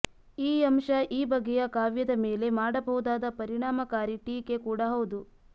ಈ ಅಂಶ ಈ ಬಗೆಯ ಕಾವ್ಯದ ಮೇಲೆ ಮಾಡಬಹುದಾದ ಪರಿಣಾಮಕಾರೀ ಟೀಕೆ ಕೂಡಾ ಹೌದು